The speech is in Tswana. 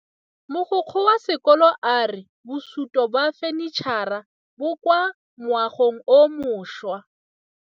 Mogokgo wa sekolo a re bosutô ba fanitšhara bo kwa moagong o mošwa.